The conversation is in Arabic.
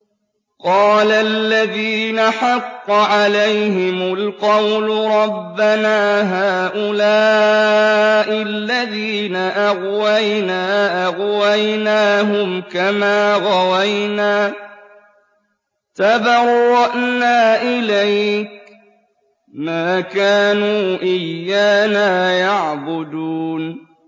قَالَ الَّذِينَ حَقَّ عَلَيْهِمُ الْقَوْلُ رَبَّنَا هَٰؤُلَاءِ الَّذِينَ أَغْوَيْنَا أَغْوَيْنَاهُمْ كَمَا غَوَيْنَا ۖ تَبَرَّأْنَا إِلَيْكَ ۖ مَا كَانُوا إِيَّانَا يَعْبُدُونَ